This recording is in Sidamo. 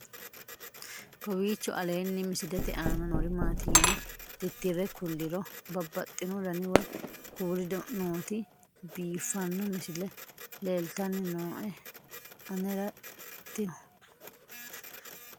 kowiicho aleenni misilete aana noori maati yine titire kulliro babaxino dani woy kuuli nooti biiffanno misile leeltanni nooe anera tino